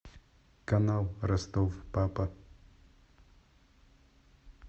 канал ростов папа